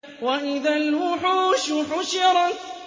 وَإِذَا الْوُحُوشُ حُشِرَتْ